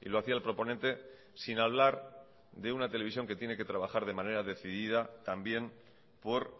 y lo hacía el proponente sin hablar de una televisión que tiene que trabajar de manera decidida también por